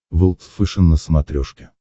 волд фэшен на смотрешке